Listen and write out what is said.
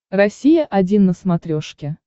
россия один на смотрешке